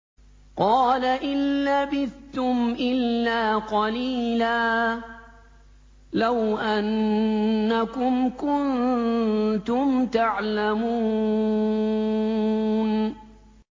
قَالَ إِن لَّبِثْتُمْ إِلَّا قَلِيلًا ۖ لَّوْ أَنَّكُمْ كُنتُمْ تَعْلَمُونَ